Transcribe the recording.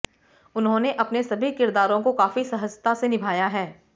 उन्होंने अपने सभी किरदारों को काफी सहजता से निभाया है